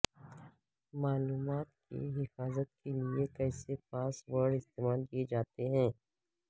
معلومات کی حفاظت کے لئے کیسے پاس ورڈ استعمال کیے جاتے ہیں